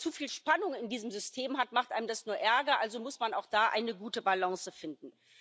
Wenn man zuviel Spannung in diesem System hat, macht einem das nur Ärger, also muss man auch da eine gute Balance finden.